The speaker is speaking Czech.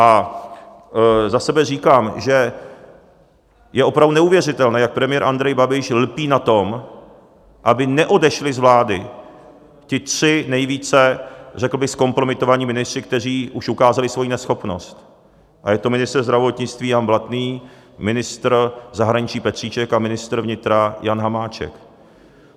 A za sebe říkám, že je opravdu neuvěřitelné, jak premiér Andrej Babiš lpí na tom, aby neodešli z vlády ti tři nejvíce řekl bych zkompromitovaní ministři, kteří už ukázali svoji neschopnost, a je to ministr zdravotnictví Jan Blatný, ministr zahraničí Petříček a ministr vnitra Jan Hamáček.